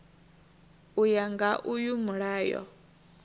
u ya nga uyu mulayo